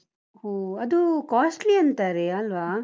ಹೋ ಅದು costly ಅಂತಾರೆ ಅಲ್ವಾ?